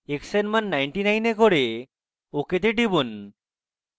x এর মান 99 এ করে ok তে টিপুন